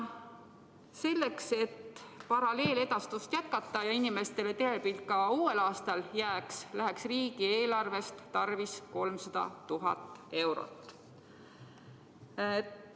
Selleks, et paralleeledastust jätkata ja inimestele telepilt ka uuel aastal alles jätta, läheks riigieelarvest tarvis 300 000 eurot.